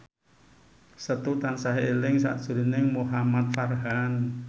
Setu tansah eling sakjroning Muhamad Farhan